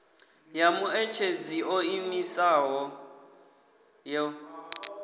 ya muṋetshedzi o ḓiimisaho yo